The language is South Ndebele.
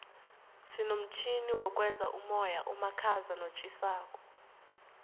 sinomtjhini wokwenza umoya omakhaza notjhisako